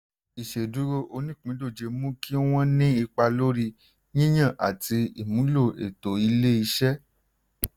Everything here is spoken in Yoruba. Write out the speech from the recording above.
ìṣeduro onípìndòjé mú kí wọ́n ní ipa lórí yíyàn àti ìmúlò ètò ilé-iṣẹ́.